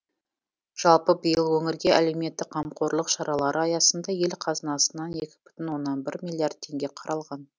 жалпы биыл өңірге әлеуметтік қамқорлық шаралары аясында ел қазынасынан екі бүтін оннан бір миллиард теңге қаралған